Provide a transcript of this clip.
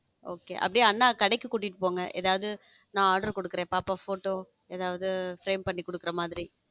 okay அப்படியே அண்ணன் கடைக்கு கூட்டிட்டு போங்க ஏதாவது நான் order கொடுக்கிறேன் பாப்பா photo ஏதாவது frame பண்ணி கொடுக்கிற மாதிரி.